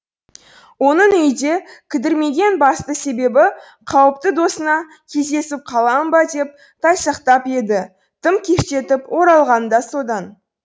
оның үйде кідірмеген басты себебі қауіпті досына кездесіп қалам ба деп тайсақтап еді тым кештетіп оралғаны да содан